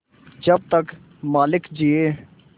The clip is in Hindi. जब तक मालिक जिये